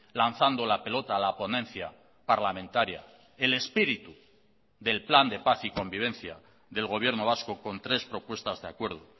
lanzando la pelota a la ponencia parlamentaria el espíritu del plan de paz y convivencia del gobierno vasco con tres propuestas de acuerdo